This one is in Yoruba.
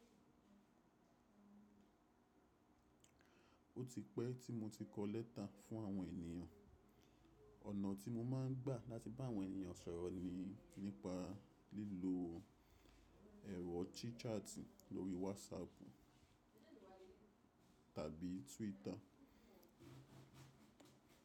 Ó ti pẹ́ tí mo ti kọ lẹ́tà fún àwọn ènìyàn. Ọ̀nà tí mo máa ń gbà láti bá àwọn ènìyàn sọ̀rọ̀ ni nípa lílo ẹ̀rọ tíchatì lórí Whatsapp tàbí Twitter.